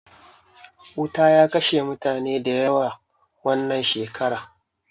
Wuta ya kashe mutane da yawa wannan shekara